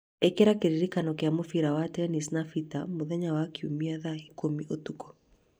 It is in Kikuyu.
Ĩkĩra kĩririkano kĩa mũbira wa tennis na Peter mũthenya wa kiumia thaa ikũmi cia ũtukũ